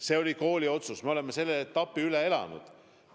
Need olid kooli otsused, me oleme selle etapi üle elanud.